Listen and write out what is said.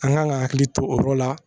An kan ka hakili to o yɔrɔ la